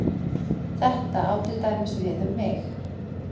Þetta á til dæmis við um mig.